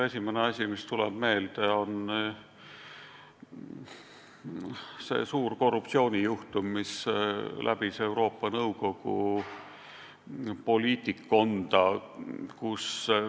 Esimene asi, mis mulle meelde tuleb, on suur korruptsioonijuhtum, mis läbis Euroopa Nõukogu poliitikkonda.